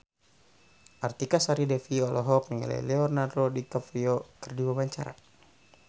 Artika Sari Devi olohok ningali Leonardo DiCaprio keur diwawancara